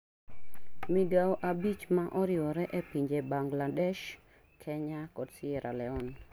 Migawo abich ma oriwore e pinje Bangladesh, Kenya kod Sierraleone